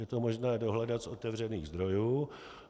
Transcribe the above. Je to možné dohledat z otevřených zdrojů.